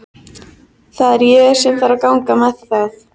Það var hlýtt og notalegt að sitja fyrir framan eldinn.